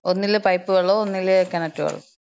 ഒന്നില് പൈപ്പ് വെള്ളോം ഒന്നില് കെണറ്റ് വെള്ളോം.